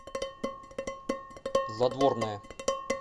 задворная